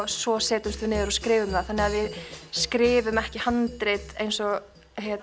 svo setjumst við niður og skrifum það þannig að við skrifum ekki handrit eins og